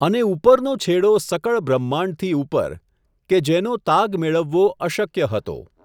અને ઉપરનો છેડો સકળ બ્રહ્માંડથી ઉપર, કે જેનો તાગ મેળળવો અશક્ય હતો.